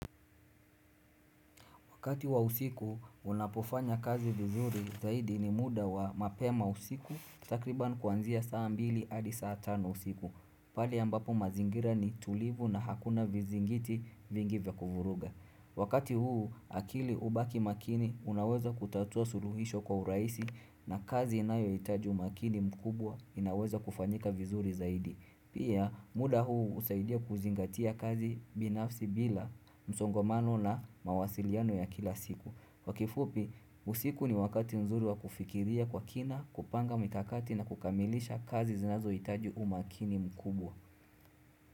Wakati wa usiku, unapofanya kazi vizuri zaidi ni muda wa mapema usiku takriban kuanzia saa mbili adi saa tano usiku. Pale ambapo mazingira ni tulivu na hakuna vizingiti vingi vya kuvuruga. Wakati huu, akili hubaki makini unaweza kutatua suluhisho kwa urahisi na kazi inayohitaji umakini mkubwa inaweza kufanyika vizuri zaidi. Pia muda huu husaidia kuzingatia kazi binafsi bila msongomano na mawasiliano ya kila siku. Kwa kifupi, usiku ni wakati nzuri wa kufikiria kwa kina, kupanga mikakati na kukamilisha kazi zinazohitaji umakini mkubwa.